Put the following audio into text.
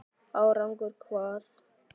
Árangur hvað?